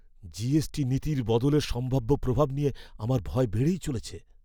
GST নীতির বদলের সম্ভাব্য প্রভাব নিয়ে আমার ভয় বেড়েই চলেছে।